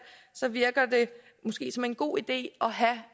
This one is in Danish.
virker det måske som en god idé